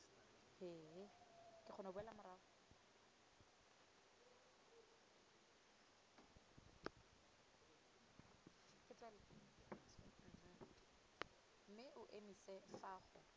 mme o emise fa go